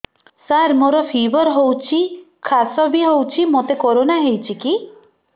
ସାର ମୋର ଫିବର ହଉଚି ଖାସ ବି ହଉଚି ମୋତେ କରୋନା ହେଇଚି କି